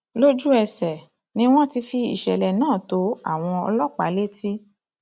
lójúẹsẹ ni wọn ti fi ìṣẹlẹ náà tó àwọn ọlọpàá létí